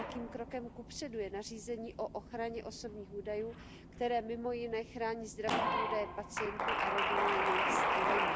Velkým krokem kupředu je nařízení o ochraně osobních údajů, které mimo jiné chrání zdravotní údaje pacientů a reguluje jejich sdílení.